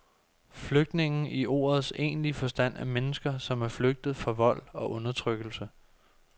Flygtninge i ordets egentlige forstand er mennesker, som er flygtet fra vold og undertrykkelse.